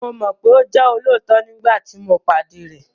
Mo mọ̀ pé ó jẹ́ olóòótọ nígbàtí tí mo pàdé rẹ̀